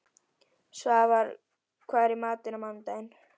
Svafar, hvað er í matinn á mánudaginn?